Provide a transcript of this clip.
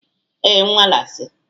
Ee, nwale si